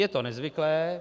Je to nezvyklé.